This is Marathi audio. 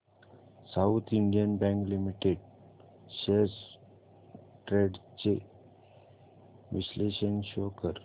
south Indian Bank Limited shares trends चे विश्लेषण शो कर